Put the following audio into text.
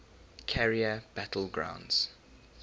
carrier battle groups